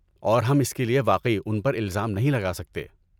اور ہم اس کے لیے واقعی ان پر الزام نہیں لگا سکتے۔